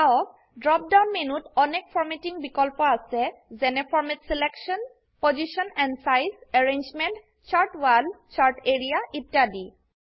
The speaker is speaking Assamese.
চাওক ড্ৰপ ডাউন মেনুত অনেক ফৰ্মেটিঙ বিকল্প আছে যেনে format selection position and size arrangement chart wall chart area ইত্যাদি